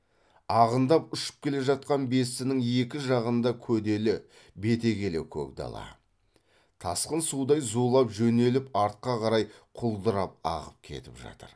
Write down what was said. ағындап ұшып келе жатқан бестінің екі жағында көделі бетегелі көк дала тасқын судай зулап жөнеліп артқа қарай құлдырап ағып кетіп жатыр